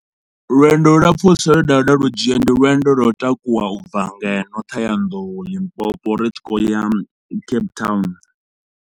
Lwendo lu lapfhusa lwe nda vhuya nda lu dzhia ndi lwendo lwo u takuwa ubva ngeno Thohoyandou, Limpopo ri tshi khou ya Cape Town.